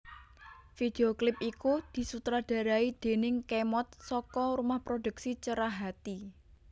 Video klip iku disutradarai déning Khemod saka rumah produksi Cerahati